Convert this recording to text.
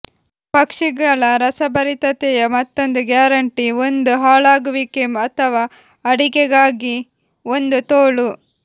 ಪಕ್ಷಿಗಳ ರಸಭರಿತತೆಯ ಮತ್ತೊಂದು ಗ್ಯಾರಂಟಿ ಒಂದು ಹಾಳಾಗುವಿಕೆ ಅಥವಾ ಅಡಿಗೆಗಾಗಿ ಒಂದು ತೋಳು